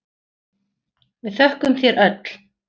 Við þökkum þér öll.